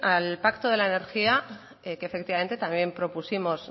al pacto de la energía que efectivamente también propusimos